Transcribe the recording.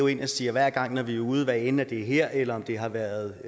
ind og siger hver gang vi er ude hvad enten det er her eller om det har været